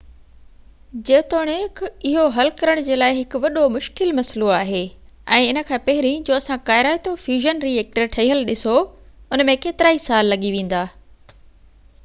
جيتوڻڪ اهو حل ڪرڻ جي لاءِ هڪ وڏو مشڪل مسئلو آهي ۽ ان کان پهرين جو اسان ڪارائتو فيوزن ري ايڪٽر ٺهيل ڏسو ان ۾ ڪيترائي سال لڳي ويندا